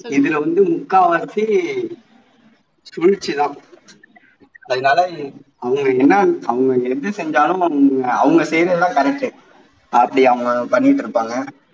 இதுல வந்து முக்காவாசி வீழ்ச்சி தான் அதனால அவங்களுக்கு என்ன அவங்களுக்கு எது செஞ்சாலும் அவங்க செய்யுறது தான் correct உ அப்படி அவங்க பண்ணிட்டு இருப்பாங்க